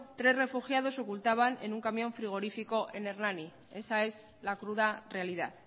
tres refugiados se ocultaban en un camión frigorífico en hernani esa es la cruda realidad